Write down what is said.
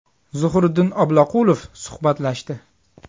Zuhriddin Obloqulov suhbatlashdi.